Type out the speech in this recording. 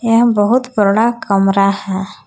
यह बहुत बड़ा कमरा है।